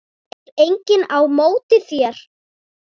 Tekur enginn á móti þér?